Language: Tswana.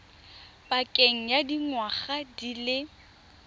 pakeng ya dingwaga di le